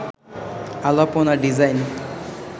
Alpana design